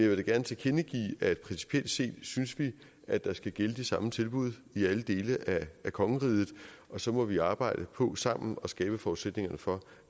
vil da gerne tilkendegive at principielt set synes vi at der skal gælde de samme tilbud i alle dele af kongeriget og så må vi arbejde på sammen at skabe forudsætningerne for